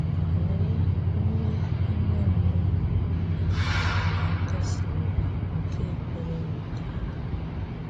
Léè umè ime mmụọ na na nkasì obi nke ekperé wetaarà m!”